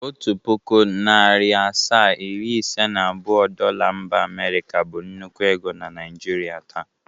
Otu pụkụ, narị asaa, iri ise na abụọ Dola mba Amịrịka bụ nnukwu ego na Naịjrịa taa.